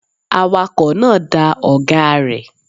Awakọ̀ náà da ọ̀gáa rẹ̀.